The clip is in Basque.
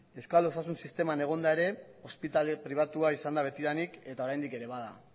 euskal osasun sisteman egonda ere ospitale pribatua izan da betidanik eta oraindik ere bada